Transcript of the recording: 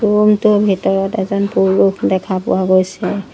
ৰুমটোৰ ভিতৰত এজন পুৰুষ দেখা পোৱা গৈছে।